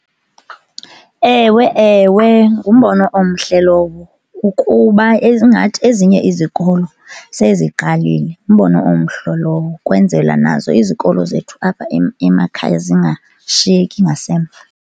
Ewe, ewe, ngumbono omhle lowo ukuba ingathi ezinye izikolo seziqalile. Ngumbono omhle lowo ukwenzela nazo izikolo zethu apha emakhaya zingashiyeki ngasemva.